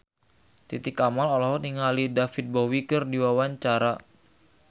Titi Kamal olohok ningali David Bowie keur diwawancara